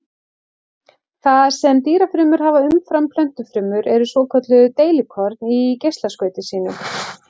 Það sem dýrafrumur hafa umfram plöntufrumur eru svokölluð deilikorn í geislaskauti sínu.